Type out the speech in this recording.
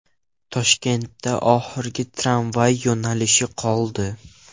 Toshkentda oxirgi tramvay yo‘nalishi qoldi.